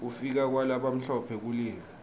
kufika kwalabamhlophe kulive